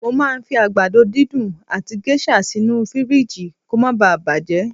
Mo màá ń fi àgbàdo dídùn àti géṣà sínú fìríìjì kó ma baà bàjẹ́